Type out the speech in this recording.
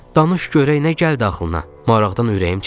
Danış görək nə gəldi ağlına, maraqdan ürəyim çəkildi.